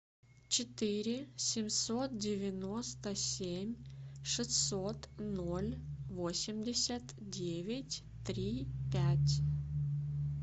четыре семьсот девяносто семь шестьсот ноль восемьдесят девять три пять